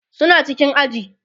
suna cikin aji